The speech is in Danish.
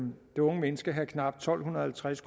det unge mennesker have knap tolv halvtreds